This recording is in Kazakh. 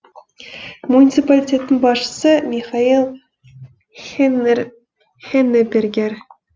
муниципалитеттің басшысы михаэль хеннебергер